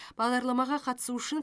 бағдарламаға қатысу үшін